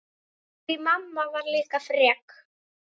Því mamma var líka frek.